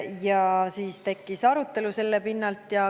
Selle pinnalt tekkis arutelu.